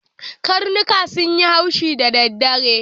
Karnuka sun yi haushi da daddare.